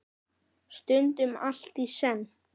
Stundum allt í senn.